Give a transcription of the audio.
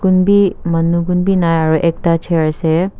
manu gunbi nai aru ekta chair ase.